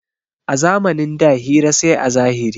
A zamanin da hira sai a zahiri.